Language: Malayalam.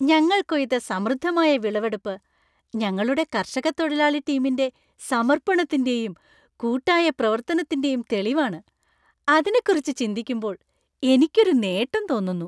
ഞങ്ങൾ കൊയ്ത സമൃദ്ധമായ വിളവെടുപ്പ് ഞങ്ങളുടെ കർഷക തൊഴിലാളി ടീമിന്‍റെ സമർപ്പണത്തിന്‍റെയും, കൂട്ടായ പ്രവർത്തനത്തിന്‍റെയും തെളിവാണ്. അതിനെക്കുറിച്ച് ചിന്തിക്കുമ്പോൾ എനിക്ക് ഒരു നേട്ടം തോന്നുന്നു.